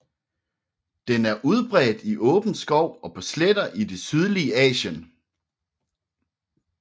Den er udbredt i åben skov og på sletter i det sydlige Asien